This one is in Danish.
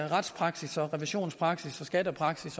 retspraksis revisionspraksis skattepraksis